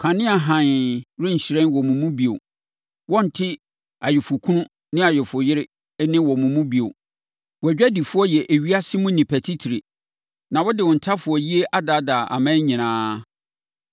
Kanea hann renhyerɛn wɔ wo mu bio. Wɔrente ayeforɔkunu ne ayeforɔyere nne wɔ wo mu bio. Wʼadwadifoɔ yɛ ewiase mu nnipa titire. Na wɔde wo ntafowayie adaadaa aman nyinaa.